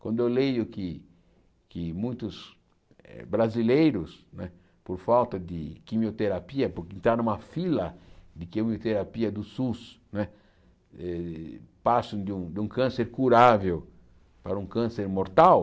Quando eu leio que que muitos eh brasileiros, não é por falta de quimioterapia, porque tá numa fila de quimioterapia do Sus né, eh passam de de um câncer curável para um câncer mortal,